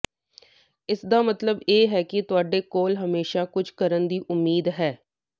ਇਸਦਾ ਮਤਲਬ ਹੈ ਕਿ ਤੁਹਾਡੇ ਕੋਲ ਹਮੇਸ਼ਾਂ ਕੁਝ ਕਰਨ ਦੀ ਉਮੀਦ ਹੈ